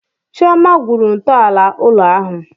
Chioma gwuru ntọala ụlọ ahụ.